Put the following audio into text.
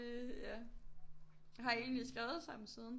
Øh ja har I egentlig skrevet sammen siden